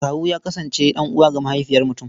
Kawu ya kasance ɗan'uwa ga mahaifiyar mutum.